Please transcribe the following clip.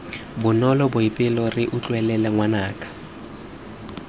bonolo boipelo re utlwelele ngwanaka